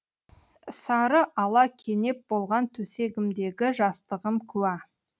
сары ала кенеп болған төсегімдегі жастығым куә